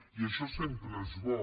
i això sempre és bo